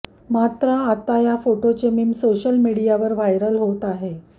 मात्र आता या फोटोचे मीम सोशल मीडियावर व्हायरल होत आहे